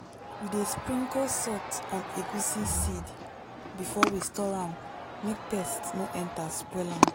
we dey sprinkle salt on egusi seed before we store am make pest no enter spoil am.